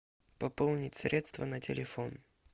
пополнить средства на телефон